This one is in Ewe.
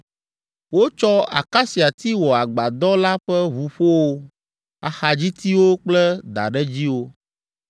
Wotsɔ akasiati wɔ agbadɔ la ƒe ʋuƒowo, axadzitiwo kple daɖedziwo.